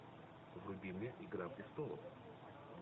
вруби мне игра престолов